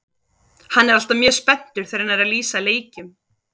Hann er alltaf mjög spenntur þegar hann er að lýsa leikjum.